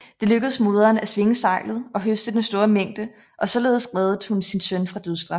Det lykkedes moderen at svinge seglet og høste den store mængde og således reddede hun sin søn fra dødsstraf